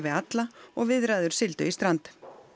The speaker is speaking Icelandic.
alla og viðræður sigldu í strand